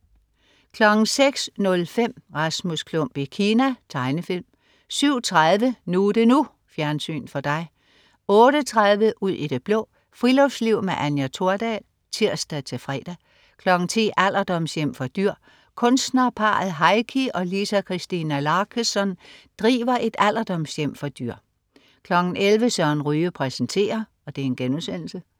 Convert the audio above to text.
06.05 Rasmus Klump i Kina. Tegnefilm 07.30 NU er det NU. Fjernsyn for dig 08.30 Ud i det blå. Friluftsliv med Anja Thordal (tirs-fre) 10.00 Alderdomshjem for dyr. Kunstnerparret Heikki og Liisa-Christina Laaksonen driver et alderdomshjem for dyr 11.00 Søren Ryge præsenterer*